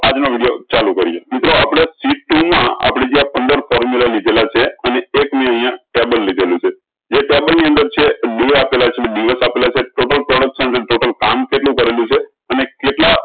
આજ નું વિડીયો ચાલુ કરીએ મિત્રો આપળે ટુ મા આપળે જ્યાં પંદર formula લીધેલા છે અને એક નું અયીયા ટેબલ લીધેલું છે જે ટેબલ ની અંદર છે ડે આપેલા છે ડી એફ આપેલા છે total production કેટલું ભાર્રેલું છે અને કેટલા